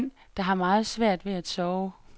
Han er en mand, der har meget svært ved at sove.